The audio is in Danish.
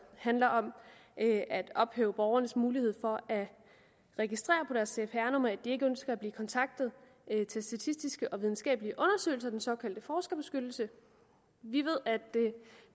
handler om at at ophæve borgernes mulighed for at registrere på deres cpr nummer at de ikke ønsker at blive kontaktet til statistiske og videnskabelige undersøgelser den såkaldte forskerbeskyttelse vi ved at